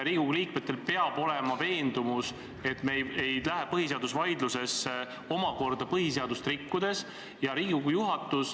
Riigikogu liikmetel peab olema veendumus, et me ei lähe põhiseadusvaidlust pidama põhiseadust rikkudes.